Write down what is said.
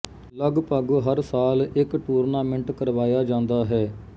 ਲਗਭਗ ਹਰ ਸਾਲ ਇੱਕ ਟੂਰਨਾਮੈਂਟ ਕਰਵਾਇਆ ਜਾਂਦਾ ਹੈ